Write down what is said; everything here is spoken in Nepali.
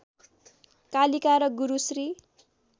कालिका र गुरु श्री